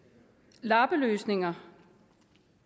lappeløsninger